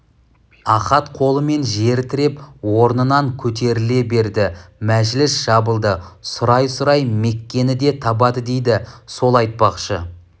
ахат қолымен жер тіреп орнынан көтеріле берді мәжіліс жабылды сұрай-сұрай меккені де табады дейді сол айтпақшы